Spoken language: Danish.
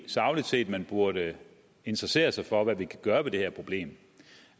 sagligt set burde interessere sig for hvad vi kan gøre ved det her problem